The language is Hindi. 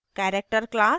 character class